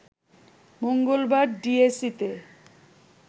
মঙ্গলবার ডিএসইতে